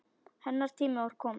Hennar tími var kominn.